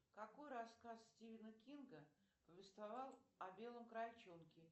какой рассказ стивена кинга повествовал о белом крольчонке